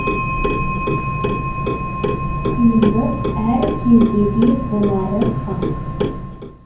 қиындық әр кездеде болары хақ